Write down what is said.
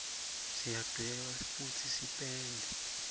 siyadweba futsi sipende